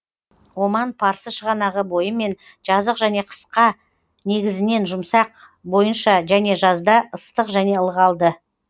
оман парсы шығанағы бойымен жазық және қысқа негізінен жұмсақ бойынша және жазда ыстық және ылғалды